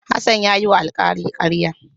Hassan ya yiwa alkali karya.